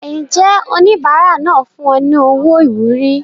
Ǹjẹ́ oníbàárà náà fún ọ ní owó ìwúrí?